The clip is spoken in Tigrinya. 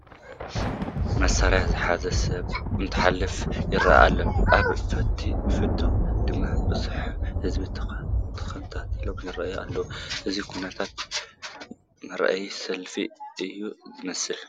መሳርያ ዝሓዘ ሰብ እንትሓልፍ ይርአ ኣሎ፡፡ ኣብ ፊት ድማ ብዙሕ ህዝቢ ተኣኪቡ ይርአ ኣሎ፡፡ እዚ ኩነት ምርኢት ሰልፊ እዩ ዝመስል፡፡